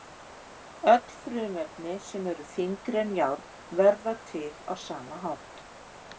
Öll frumefni sem eru þyngri en járn verða til á sama hátt.